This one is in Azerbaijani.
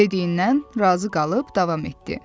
Dediyindən razı qalıb davam etdi.